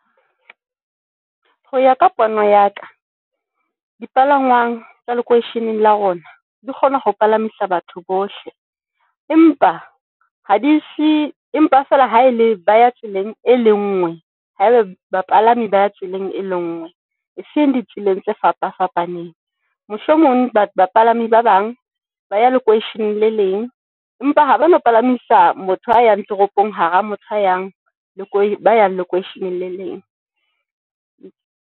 Ho ya ka pono ya ka dipalangwang tsa le lokweisheneng la rona, di kgona ho palamisa batho bohle empa ha di hle, empa fela ha ele ba ya tseleng e lengwe. Ha ebe bapalami ba ya tseleng e le ngwe, e seng di tseleng tse fapa fapaneng, mohlomong batho bapalami ba bang ba ya lokweisheneng le leng. Empa ha ba no palamisa motho a yang toropong hara motho, a yang lokweisheneng le leng.